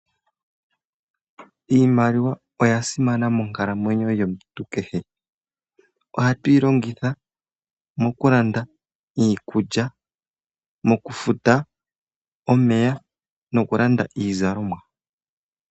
Iimaliwa oya simana monkalamweyo yomuntu kehe. Ohatu yi longitha mokulanda iikulya, mokufuta omeya nokulanda iizalomwa.